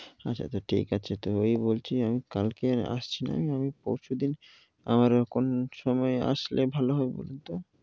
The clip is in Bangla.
আচ্ছা আচ্ছা ঠিক আছে। তো এই বলছি আমি, কালকে আসছি না। আমি পরশু দিন আমার কোন সময় আসলে ভালো হবে বলুন তো?